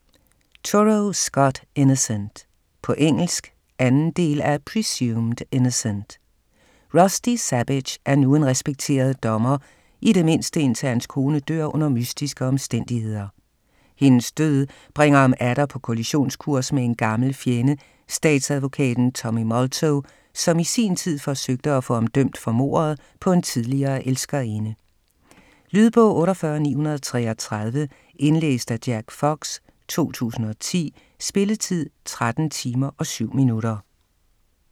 Turow, Scott: Innocent På engelsk. 2. del af Presumed innocent. Rusty Sabich er nu en respekteret dommer, i det mindste indtil hans kone dør under mystiske omstændigheder. Hendes død bringer ham atter på kollisionskurs med en gammel fjende, statsadvokaten Tommy Molto, som i sin tid forsøgte at få ham dømt for mordet på en tidligere elskerinde. Lydbog 48933 Indlæst af Jack Fox, 2010. Spilletid: 13 timer, 7 minutter.